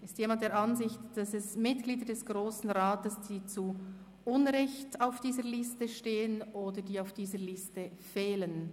Ist jemand der Ansicht, dass Mitglieder des Grossen Rats zu Unrecht hier auf dieser Liste stehen oder auf dieser Liste fehlen?